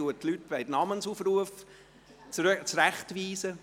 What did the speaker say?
Dort werden die Leute, die zurechtgewiesen werden, namentlich aufgerufen.